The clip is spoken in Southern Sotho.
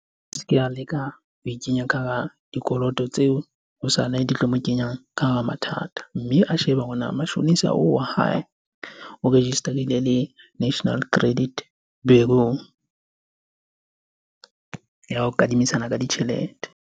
A se ke a leka ho ikenya ka hara dikoloto tseo hosane di tlo mo kenya ka hara mathata. Mme a shebe hore na mashonisa oo wa hae, o register-ile le National Credit Bureau ya kadimisana ka ditjhelete.